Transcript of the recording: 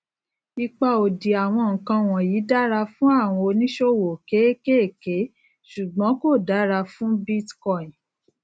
ipa òdì àwọn nǹkan wọnyí dára fún àwọn oníṣòwò kéékèèké ṣùgbón kò dára fún bitcoin